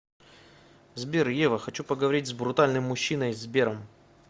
сбер ева хочу поговорить с брутальным мужчиной сбером